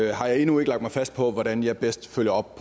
jeg endnu ikke lagt mig fast på hvordan jeg bedst følger op